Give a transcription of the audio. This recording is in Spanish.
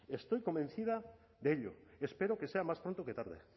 estoy convencida de ello espero que sea más pronto que tarde